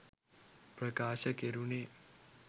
ප්‍රකාශ කෙරුණේ